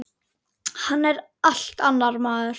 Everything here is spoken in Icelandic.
Hann er allt annar maður.